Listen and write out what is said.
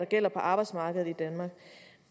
gælder på arbejdsmarkedet i danmark